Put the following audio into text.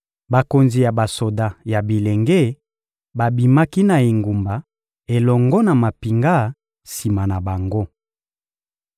Bakonzi ya basoda ya bilenge babimaki na engumba elongo na mampinga sima na bango.